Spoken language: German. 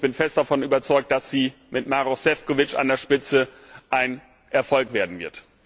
Ich bin fest davon überzeugt, dass sie mit Maroš Šefčovič an der Spitze ein Erfolg werden wird.